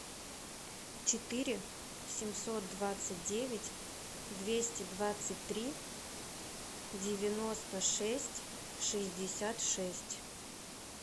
четыре семьсот двадцать девять двести двадцать три девяносто шесть шестьдесят шесть